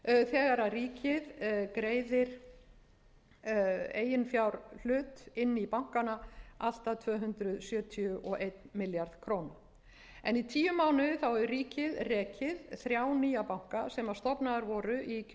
hrun þegar ríkið greiðir eiginfjárhlut inn í bankana allt að tvö hundruð sjötíu og einn milljarð króna í tíu mánuði hefur ríkið rekið þrjá nýja banka sem stofnaðir voru í kjölfar neyðarlaganna